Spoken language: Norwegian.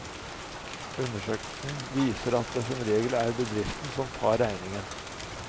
Undersøkelsen viser at det som regel er bedriften som tar regningen.